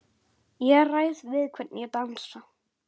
Ég ræð við hvern ég dansa,